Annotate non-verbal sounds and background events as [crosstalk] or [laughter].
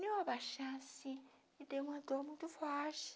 [unintelligible] abaixar assim e deu uma dor muito forte.